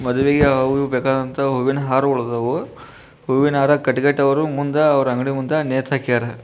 ಮದುವೆಗೆ ಅವು ಇವು ಬೇಕಾದಂತ ಹೂವಿನ ಹಾರಗಳಾದಾವು. ಹೂವಿನ ಹಾರ ಕಟ್ಟಿ ಕಟ್ಟಿ ಅವ್ರ ಮುಂದ ಅವ್ರ ಅಂಗಡಿ ಮುಂದ ನೇತಹಾಕ್ಯಾರ್.